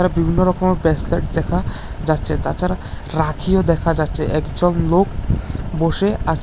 বিভিন্ন রকম বেসলেট দেখা যাচ্ছে তাছাড়া রাখিও দেখা যাচ্ছে একজন লোক বসে আছে।